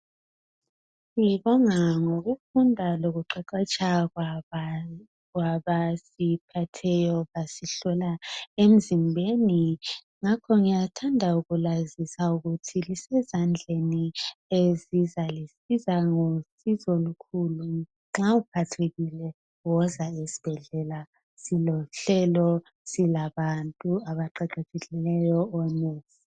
ngokufunda lokuqeqetsha kwabantu abasiphetheyo basihlola emzimbeni ngakho ngiyathanda ukulazisa ukthi lisezandleni ezizalisiza ezizalisiza ngosizo olukhulu nxa uphathekile woza esibhedlela silohlelo silabantu abaqeqetshekileyo.